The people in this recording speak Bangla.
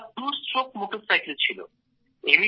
ওটা টুস্ট্রোক মোটরসাইকেল ছিল